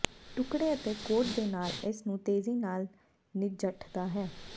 ਟੁਕਡ਼ੇ ਅਤੇ ਕੋਟ ਦੇ ਨਾਲ ਇਸ ਨੂੰ ਤੇਜ਼ੀ ਨਾਲ ਨਜਿੱਠਦਾ ਹੈ